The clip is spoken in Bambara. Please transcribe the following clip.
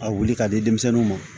A wuli k'a di denmisɛnninw ma